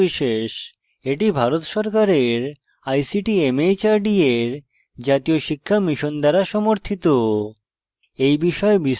এটি ভারত সরকারের ict mhrd এর জাতীয় শিক্ষা mission দ্বারা সমর্থিত